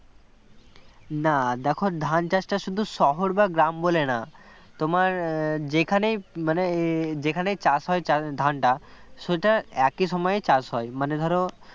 না দেখো ধান চাষটা শুধু শহর বা গ্রাম বলে না তোমার যেখানে মানে যেখানে চাষ হয় ধানটা সেটা একই সময়ে চাষ হয় মানে ধরো